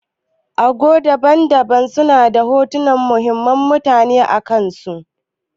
Ago daban-daban suna da hotunan muhimman mutane akansu.